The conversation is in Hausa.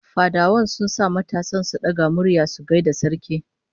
Fadawa sun sa matasan sun daga murya sun gaida sarki